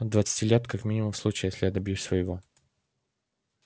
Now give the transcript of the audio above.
от двадцати лет как минимум в случае если я добьюсь своего